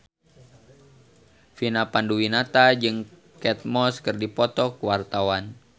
Vina Panduwinata jeung Kate Moss keur dipoto ku wartawan